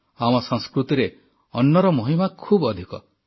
ଆମ ସଂସ୍କୃତିରେ ଅନ୍ନର ମହିମା ଖୁବ୍ ଅଧିକ